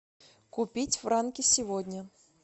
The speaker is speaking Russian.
купить франки сегодня